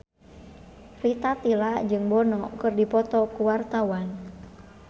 Rita Tila jeung Bono keur dipoto ku wartawan